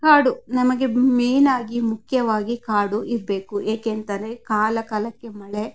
ಕಾಡು ನಮಗೆ ಮೇನ್ ಆಗಿ ಮುಖ್ಯವಾಗಿ ಕಾಡು ಇರ್ಬೇಕು ಏಕೆಂದರೆ ಕಾಲ ಕಾಲಕ್ಕೆ ಮಳೆ --